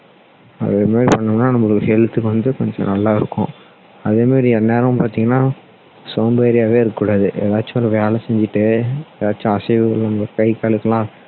அதே மாதிரி பண்ணோம்னா நம்மளுக்கு health க்கு வந்து கொஞ்சம் நல்லா இருக்கும் அதே மாதிரி எந்நேரமும் பார்த்தீங்கன்னா சோம்பேறியாவே இருக்க கூடாது ஏதாச்சும் ஒரு வேலை செஞ்சிட்டே ஏதாச்சும் அசைவுகள் இந்த கை காலுக்குலாம்